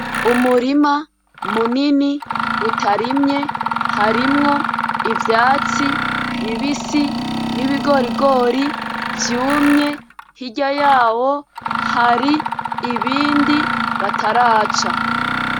Umurima munini utarimye, harimwo ivyatsi bibisi n'ibigorigori vyumye, hirya yaho hari ibindi bataraca.